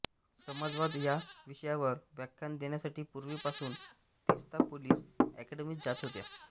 जमातवाद या विषयावर व्याख्यानं देण्यासाठी पूर्वीपासून तीस्ता पोलीस एकॅडमीत जात होत्या